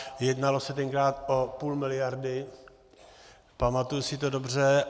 Jednalo se tenkrát o půl miliardy, pamatuji si to dobře.